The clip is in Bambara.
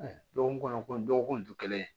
Dɔgɔkun kɔnɔ ko dɔgɔkun tɛ kelen ye